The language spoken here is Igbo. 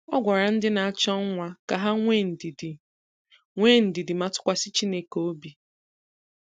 Ọ gwara ndị na-achọ nwa ka ha nwee ndidi nwee ndidi ma tụkwasị Chineke obi